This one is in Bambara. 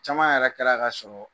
Caman yɛrɛ kɛra ka sɔrɔɔ